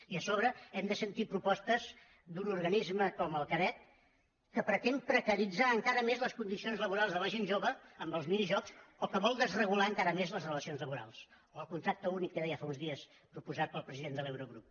i a sobre hem de sentir propostes d’un organisme com el carec que pretén precaritzar encara més les condicions laborals de la gent jove amb els minijobs o que vol desregular encara més les relacions laborals o el contracte únic que deia fa uns dies proposat pel president de l’eurogrup